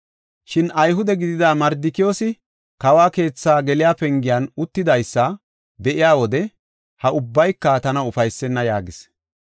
Shin Ayhude gidida Mardikiyoosi kawo keethi geliya pengen uttidaysa be7iya wode ha ubbayka tana ufaysenna” yaagis.